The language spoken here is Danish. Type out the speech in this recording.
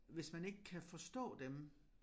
Hvis man ikke kan forstå dem